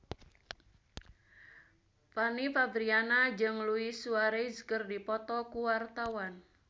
Fanny Fabriana jeung Luis Suarez keur dipoto ku wartawan